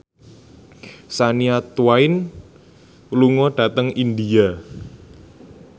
Shania Twain lunga dhateng India